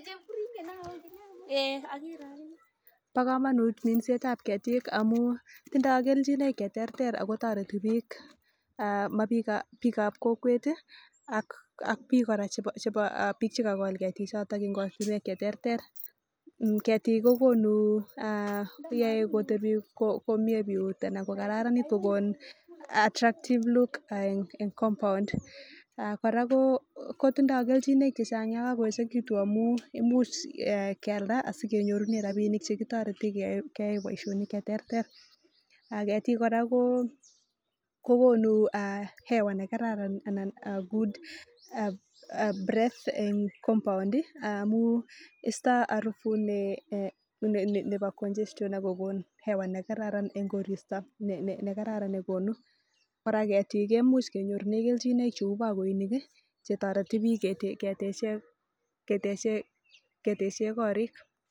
Ba kamanut minset ab ketik en Yu amun tindo keljinaik cheterter akotareti bik bik ab kokwet ak bik kora chekagol ketik choton cheterter getik kokonu komie biyut anan ko kararanit kokon attractive look en compound koraa koitindoi keljinoik chechang ak kokakoechekitun akokimuch keyalda sekenyorunen rabinik chekitareten gei Baishonik cheterter ak ketik koraa ko kokonu hewa nekararan anan ko good breath compound istae arubut Nebo congestion akokonin hewa nekararan en koristo kora ketik kemuch kenyoru kelchinoi cheu bakoinik chetareti bik ketechen korik